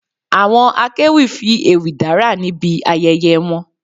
Àwọn akéwì fi ewì dárà níbi ayẹyẹ wọn